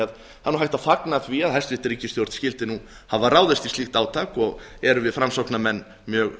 það er hægt að fagna því að hæstvirt ríkisstjórn skyldi hafa ráðist í slíkt átak og erum við framsóknarmenn mjög